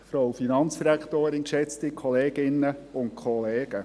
Kommissionssprecher der FiKo-Mehrheit.